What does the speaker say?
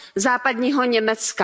Západního Německa.